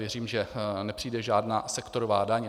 Věřím, že nepřijde žádná sektorová daň.